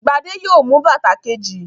Gbadé yóò mú bàtà kejì.